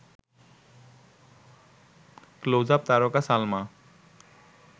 Closeup তারকা সালমা